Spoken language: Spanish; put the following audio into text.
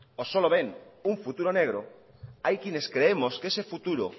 o solo ven un futuro negro hay quienes creemos que ese futuro